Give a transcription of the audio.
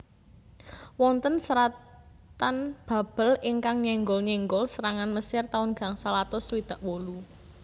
Wonten seratan Babel ingkang nyenggol nyenggol serangan Mesir taun gangsal atus swidak wolu